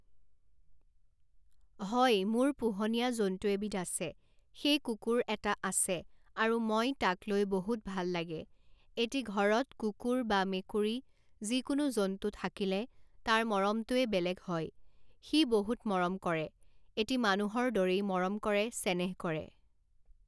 হয় মোৰ পোহনীয়া জন্তু এবিধ আছে সেই কুকুৰ এটা আছে আৰু মই তাক লৈ বহুত ভাল লাগে এটি ঘৰত কুকুৰ বা মেকুৰী যিকোনো জন্তু থাকিলে তাৰ মৰমটোৱে বেলেগ হয় সি বহুত মৰম কৰে এটি মানুহৰ দৰেই মৰম কৰে চেনেহ কৰে